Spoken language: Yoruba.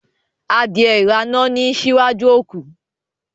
Adìẹ irana ni n síwájú òkú